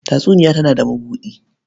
Tatsuniya tana da mabuɗi.